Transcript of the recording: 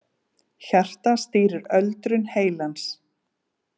Hjartað stýrir öldrun heilans